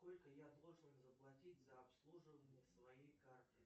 сколько я должен заплатить за обслуживание своей карты